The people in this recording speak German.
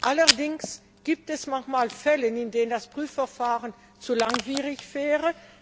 Allerdings gibt es manchmal Fälle, in denen das Prüfverfahren zu langwierig wäre.